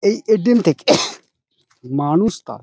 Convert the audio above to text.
এই এ.টি.এম. থেকে মানুষ তা --